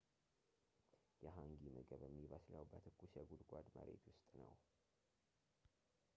የhangi ምግብ የሚበስለው በትኩስ የጉድጓድ መሬት ውስጥ ነው